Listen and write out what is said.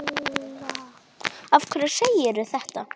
Af hverju segirðu þetta?